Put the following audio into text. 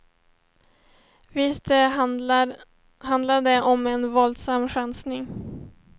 Visst handlade om en våldsam chansning.